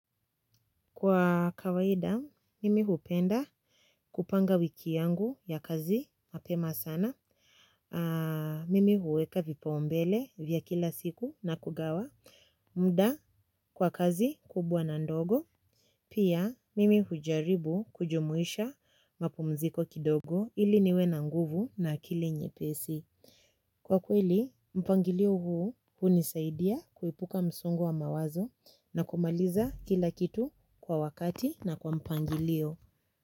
Kwa kawaida mimi hupenda kupanga wiki yangu ya kazi mapema sana. Mimi huweka vipaumbele vya kila siku na kugawa muda kwa kazi kubwa na ndogo. Pia mimi hujaribu kujumuisha mapumziko kidogo ili niwe na nguvu na akili nyepesi. Kwa kweli, mpangilio huu hunisaidia kuepuka msongo wa mawazo na kumaliza kila kitu kwa wakati na kwa mpangilio.